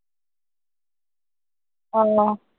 আহ